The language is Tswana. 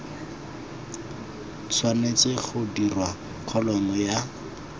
tshwanetse ga dirwa kholomo ya